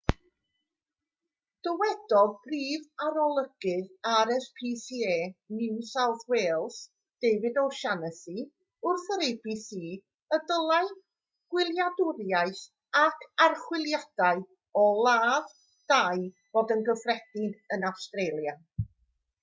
dywedodd prif arolygydd rscpa new south wales david o'shannessy wrth yr abc y dylai gwyliadwriaeth ac archwiliadau o ladd-dai fod yn gyffredin yn awstralia